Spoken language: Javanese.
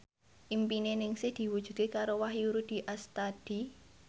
impine Ningsih diwujudke karo Wahyu Rudi Astadi